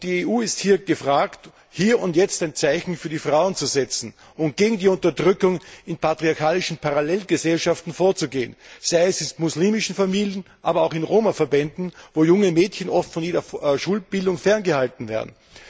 Und die EU ist gefordert, hier und jetzt ein Zeichen für die Frauen zu setzen und gegen die Unterdrückung in patriarchalischen Parallelgesellschaften vorzugehen, sei es in muslimischen Familien oder in Roma Verbänden, wo junge Mädchen oft von jeder Schulbildung ferngehalten werden.